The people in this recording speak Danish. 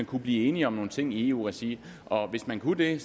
kunne blive enige om nogle ting i eu regi og hvis man kunne det